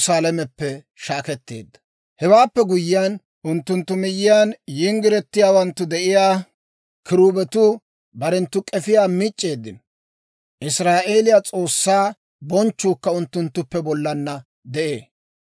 Hewaappe guyyiyaan, unttunttu miyyiyaan yinggiretiyaawanttu de'iyaa kiruubetuu, barenttu k'efiyaa mic'c'eeddino; Israa'eeliyaa S'oossaa bonchchuukka unttunttuppe bollaanna de'ee.